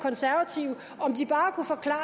så er